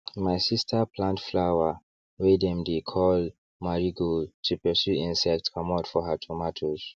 my sister plant flower wey dem dey call marigold to pursue insects comot for her tomatoes